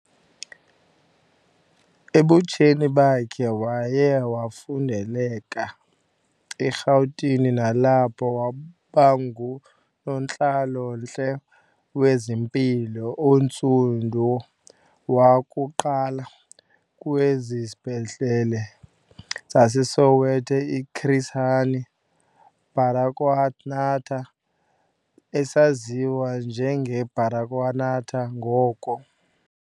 Ebutsheni bakhe waye wafundeleka eRhawutini nalapho wabangunontlalo-ntle wezempilo ontsundu wakuqala kwisibhedlele saseSoweto iChris Hani Baragwanath esaziwa njenge Baragwanath ngoko.